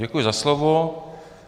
Děkuji za slovo.